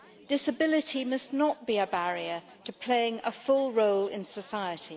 Disability must not be a barrier to playing a full role in society.